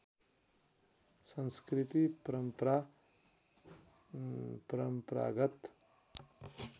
संस्कृति परम्परा परम्परागत